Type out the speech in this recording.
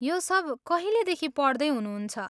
यो सब कहिलेदेखि पढ्दै हुनुहुन्छ?